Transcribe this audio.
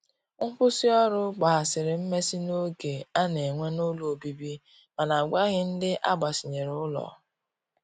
Nkwụsi ọrụ gbahasiri mmesi n'oge ana n'enwe n'ụlọ ọbibi mana agwaghi ndi agbasinyere ụlọ.